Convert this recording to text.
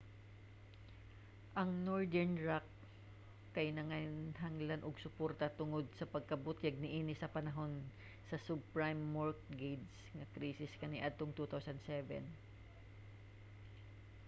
ang northern rock kay nanginhanglan og suporta tungod sa pagkabutyag niini sa panahon sa subprime mortgage nga krisis kaniadtong 2007